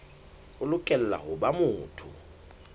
o lokela ho ba motho